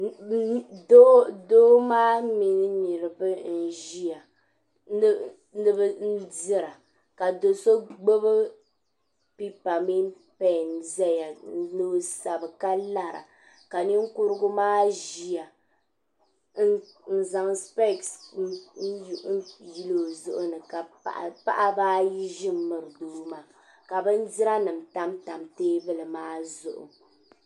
Doo maa mini niriba n ʒia n dira ka do'so gbibi pipa mini peni zaya ni o sabi ka lara ka ninkurigu maa ʒia n zaŋ sipesi yili o zuɣu ni paɣaba ayi ʒi m miri doo maa ka bindira nima tam tam teebuli maa zuɣu